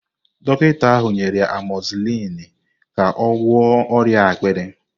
Dọkịta ahụ nyere amozisilini ka ọ gwọọ ọrịa akpịrị.